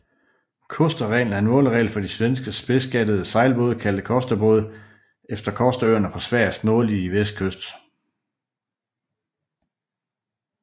Kosterreglen er en måleregel for de svenske spidsgattede sejlbåde kaldet Kosterbåde efter Kosterøerne på Sveriges nordlige vestkyst